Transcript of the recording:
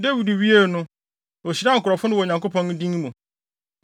Dawid wiee no, ohyiraa nkurɔfo no wɔ Awurade din mu.